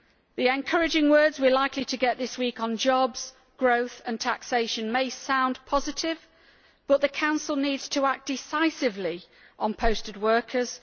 The encouraging words we are likely to get this week on jobs, growth and taxation may sound positive, but the Council needs to act decisively on posted workers.